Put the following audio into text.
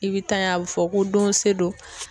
I bɛ tan ye a bɛ fɔ ko don se don